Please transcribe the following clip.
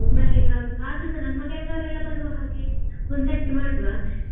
ಬರ್ಲಿಕ್ ಆಗೋದು ಆದ್ರೂಸ ನಮ್ಮgang ಅವರೆಲ್ಲಾ ಬರುವ ಹಾಗೆ ಒಂದು set ಮಾಡುವಾ.